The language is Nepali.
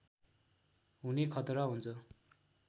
हुने खतरा हुन्छ